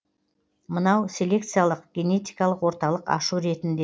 мынау селекциялық генетикалық орталық ашу ретінде